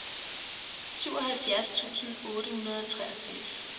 syvoghalvfjerds tusind otte hundrede og treogfirs